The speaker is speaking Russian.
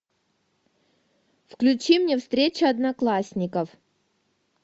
включи мне встреча одноклассников